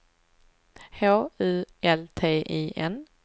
H U L T I N